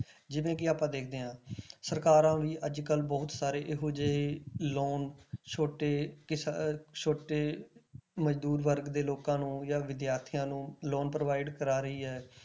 ਜਿਵੇਂ ਕਿ ਆਪਾਂ ਦੇਖਦੇ ਹਾਂ ਸਰਕਾਰਾਂ ਵੀ ਅੱਜ ਕੱਲ੍ਹ ਬਹੁਤ ਸਾਰੇ ਇਹੋ ਜਿਹੇ loan ਛੋਟੇ ਕਿਸਾ~ ਛੋਟੇ ਮਜ਼ਦੂਰ ਵਰਗ ਦੇ ਲੋਕਾਂ ਨੂੰ ਜਾਂ ਵਿਦਿਆਰਥੀਆਂ ਨੂੰ loan provide ਕਰਵਾ ਰਹੀ ਹੈ।